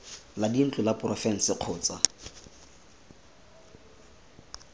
la dintlo la porofense kgotsa